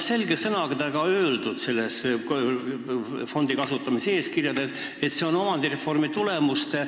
Selle fondi raha kasutamise eeskirjas on selge sõnaga öeldud, et see on viimase omandireformi tulemuste